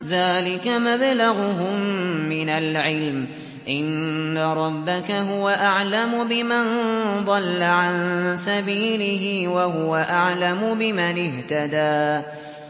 ذَٰلِكَ مَبْلَغُهُم مِّنَ الْعِلْمِ ۚ إِنَّ رَبَّكَ هُوَ أَعْلَمُ بِمَن ضَلَّ عَن سَبِيلِهِ وَهُوَ أَعْلَمُ بِمَنِ اهْتَدَىٰ